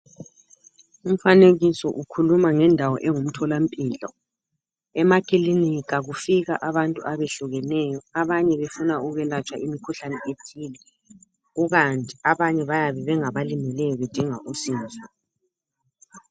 umfanekiso ukhuluma ngendawo engumtholampilo emakilinika kufika abantu abehlukeneyo abanye befuna ukwelatshwa imikhuhlane ethile kukanti abanye bayabe bengabalimeleyo bedinga usizo